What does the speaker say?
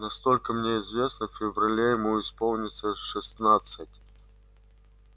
насколько мне известно в феврале ему исполнится шестнадцать